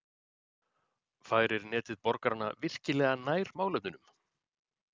Færir Netið borgarana virkilega nær málefnunum?